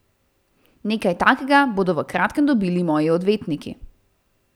Nekaj takega bodo v kratkem dobili moji odvetniki.